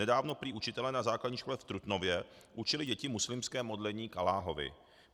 Nedávno prý učitelé na základní škole v Trutnově učili děti muslimské modlení k Alláhovi.